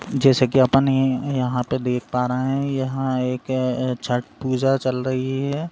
जैसे कि आप अपने यहां पर देख पा रहे हैं यहाँ एक छठ पूजा चल रही है|